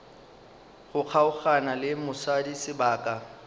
go kgaogana le mosadi sebaka